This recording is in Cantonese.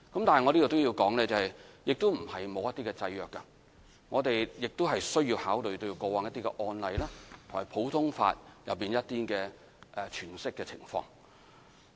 但我要說明，定義不是沒有制約，我們需要考慮過往的案例和普通法的詮釋情況。